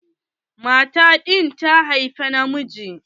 Mata ɗin ta haifa na miji.